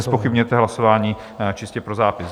Nezpochybňujete hlasování, čistě pro zápis.